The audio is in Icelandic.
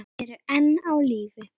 Þau eru enn á lífi.